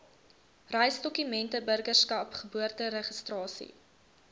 reisdokumente burgerskap geboorteregistrasie